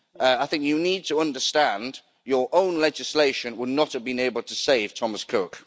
I think you need to understand that your own legislation would not have been able to save Thomas Cook.